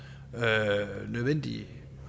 nødvendigt